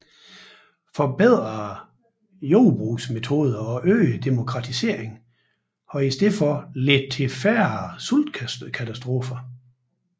Forbedrede jordbrugsmetoder og øget demokratisering har i stedet ledt til færre sultkatastrofer